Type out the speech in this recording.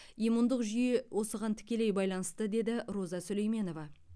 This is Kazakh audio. иммундық жүйе осыған тікелей байланысты деді роза сүлейменова